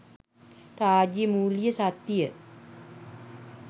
රාජ්‍ය මූල්‍ය ශක්තිය